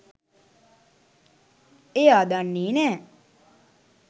එයා දන්නේ නෑ